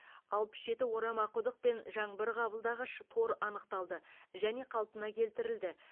алпыс жеті орама құдық пен жаңбыр қабылдағыш тор анықталды және қалпына келтірілді